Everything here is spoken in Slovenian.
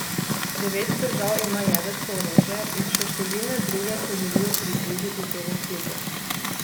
Devet držav ima jedrsko orožje in še številne druge se želijo pridružiti temu klubu.